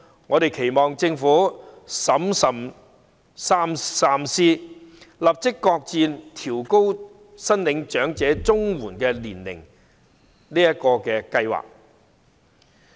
我們期望政府審慎三思，立即擱置調高長者綜援合資格年齡的計劃。